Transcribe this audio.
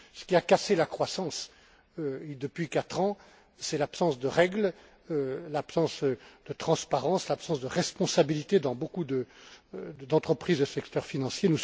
Ce qui a cassé la croissance, depuis quatre ans, c'est l'absence de règles, l'absence de transparence, l'absence de responsabilités dans beaucoup d'entreprises du secteur financier.